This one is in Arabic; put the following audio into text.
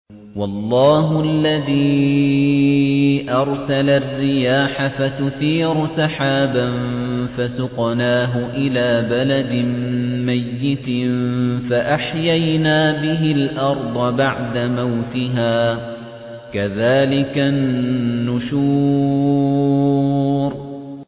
وَاللَّهُ الَّذِي أَرْسَلَ الرِّيَاحَ فَتُثِيرُ سَحَابًا فَسُقْنَاهُ إِلَىٰ بَلَدٍ مَّيِّتٍ فَأَحْيَيْنَا بِهِ الْأَرْضَ بَعْدَ مَوْتِهَا ۚ كَذَٰلِكَ النُّشُورُ